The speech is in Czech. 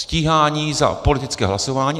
Stíhání za politické hlasování.